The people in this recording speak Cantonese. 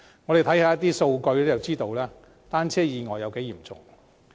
我們看看數據便可得知單車意外有多嚴重。